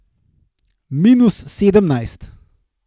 Minus sedemnajst.